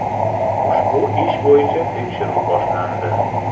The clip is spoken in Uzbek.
Ushbu ish bo‘yicha tekshiruv boshlandi.